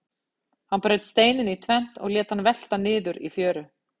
Hann braut steininn í tvennt og lét hann velta niður í fjöru.